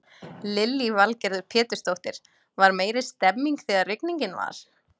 Lillý Valgerður Pétursdóttir: Var meiri stemmning þegar rigningin var?